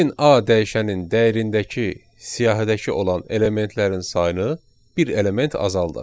Gəlin A dəyişənin dəyərindəki siyahıdakı olan elementlərin sayını bir element azaldaq.